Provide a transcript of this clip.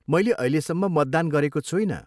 मैले अहिलेसम्म मतदान गरेको छुइनँ।